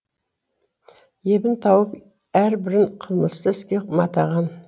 ебін тауып әрбірін қылмысты іске матаған